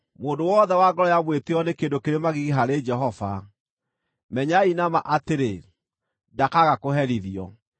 Mũndũ wothe wa ngoro ya mwĩtĩĩo nĩ kĩndũ kĩrĩ magigi harĩ Jehova. Menyai na ma atĩrĩ, ndakaaga kũherithio.